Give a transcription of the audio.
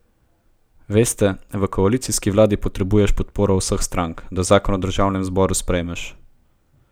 Veste, v koalicijski vladi potrebuješ podporo vseh strank, da zakon v državnem zboru sprejmeš.